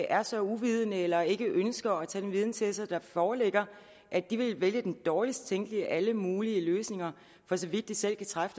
er så uvidende eller ikke ønsker at tage den viden til sig der foreligger at de ville vælge den dårligst tænkelige af alle mulige løsninger for så vidt de selv kan træffe